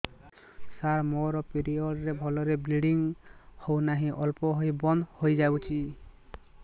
ସାର ମୋର ପିରିଅଡ଼ ରେ ଭଲରେ ବ୍ଲିଡ଼ିଙ୍ଗ ହଉନାହିଁ ଅଳ୍ପ ହୋଇ ବନ୍ଦ ହୋଇଯାଉଛି